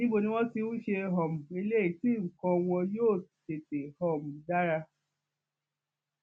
níbo ni wọn ti ń ṣe um eléyìí tí nǹkan wọn yóò tètè um dára